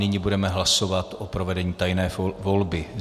Nyní budeme hlasovat o provedení tajné volby.